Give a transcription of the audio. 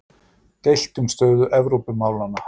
Deilt um stöðu Evrópumálanna